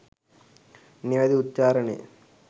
නිවැරැදි උච්චාරණය